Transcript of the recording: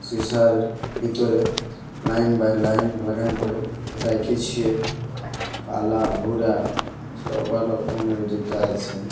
সীসার ভিতরে line by line লাগান করে রাইখেছে কালা গোরা সবা রকমের জুতো আছে।